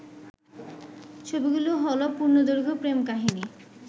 ছবিগুলো হলো পূর্ণদৈর্ঘ্য প্রেম কাহিনী